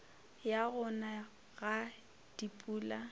ya go na ga dipula